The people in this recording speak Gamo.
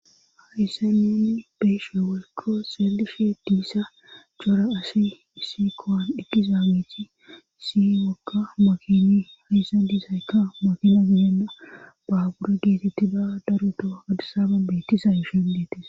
Haissa nenn beeshe walko xeellifee diissa cora asi issi kowan eqqiza miiti si wokka mokini hayssa disaykka mokina gidenna baabura geetetti da daroto adisaba bettisa yushon deetes